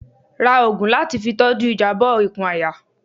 Rá òògùn latí fí tọju ìjabọ ìkùn àyà